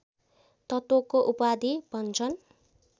तत्त्वको उपाधि भन्छन्